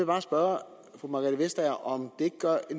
bare spørge fru margrethe vestager om